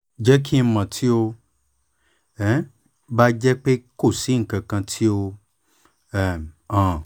jẹ ki n mọ ti o um ba jẹ pe ko si nkankan ti o um han